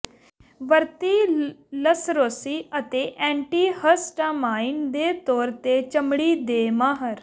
ਵਰਤੀ ਲਸਰੋਸੀ ਅਤੇ ਐਂਟੀਿਹਸਟਾਮਾਈਨ ਦੇ ਤੌਰ ਤੇ ਚਮੜੀ ਦੇ ਮਾਹਰ